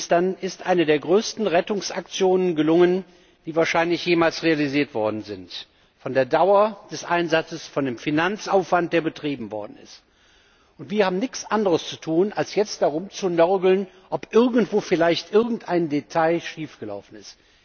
Dann ist eine der größten Rettungsaktionen gelungen, die wahrscheinlich jemals realisiert worden sind, was die Dauer des Einsatzes, den Finanzaufwand, der betrieben worden ist, betrifft. Und jetzt haben wir nichts anderes zu tun, als da rumzunörgeln, ob irgendwo vielleicht irgendein Detail schiefgelaufen ist.